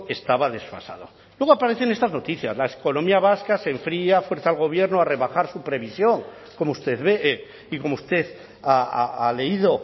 estaba desfasado luego aparecen estas noticias la economía vasca se enfría fuerza al gobierno a rebajar su previsión como usted ve y como usted ha leído